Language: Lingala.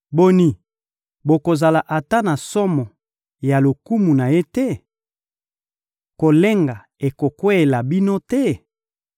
Boni, bokozala ata na somo ya lokumu na Ye te? Kolenga ekokweyela bino te?